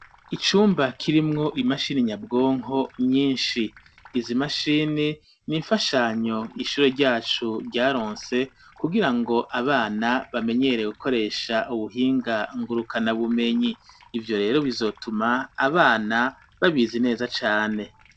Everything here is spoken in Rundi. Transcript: Icumba kirimwo imashini nyabwonko nyinshi. Izi mashini ni imfashanyo ishure ryacu ryaronse kugirango abana bamenyere gukoresha ubuhinga ngurukana bumenyi. Ivyo rero bizotuma abana babizi neza cane.